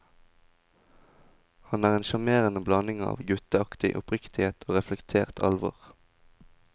Han er en sjarmerende blanding av gutteaktig oppriktighet og reflektert alvor.